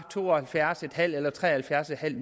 to og halvfjerds en halv eller tre og halvfjerds en halv